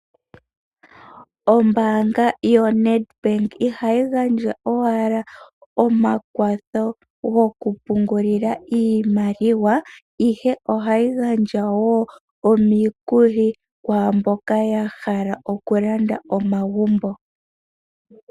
Ombaanga yoNedbank ihayi gandja owala omakwatho gokupungulila iimaliwa, ihe ohayi gandja wo omikuli kwaamboka yahala okulanda omagumbo.